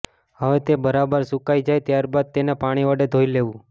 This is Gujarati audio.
હવે તે બરાબર સુકાઈ જાય ત્યાર બાદ તેને પાણી વડે ધોઈ લેવું